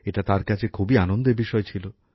এটা তার কাছে খুবই আনন্দের বিষয় ছিল